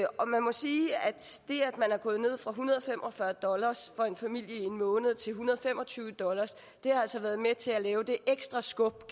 og man må sige at det at man er gået ned fra en hundrede og fem og fyrre dollar for en familie i en måned til en hundrede og fem og tyve dollar har været med til at give det ekstra skub